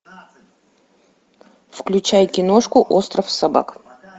включай киношку остров собак